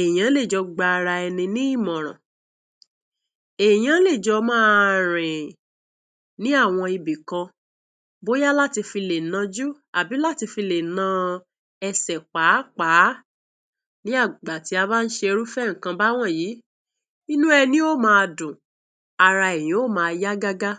ènìyàn lè jọ gba ara ní ìmọ̀. ràn, ènìyàn lè jọ márìn ní àwọn ibi kan, bóyá láti fi lẹ.́ná oju tàbí láti fi lẹ.́nú-èsẹ̀. pápá. Nígbà tí a bá ṣe irú àwọn ìkàn yìí, inú ènìyàn yóò máa dùn, ara ènìyàn yóò máa yà gágá.